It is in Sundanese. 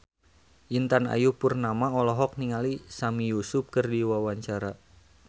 Intan Ayu Purnama olohok ningali Sami Yusuf keur diwawancara